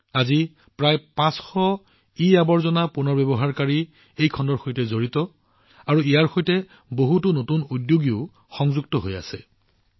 বৰ্তমান প্ৰায় ৫০০ e waste recycler এই খণ্ডৰ সৈতে সম্পৰ্কিত আৰু বহুতো নতুন উদ্যোগীও ইয়াৰ সৈতে জড়িত হৈ আছে